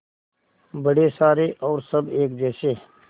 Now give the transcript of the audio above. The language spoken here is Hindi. बड़े सारे और सब एक जैसे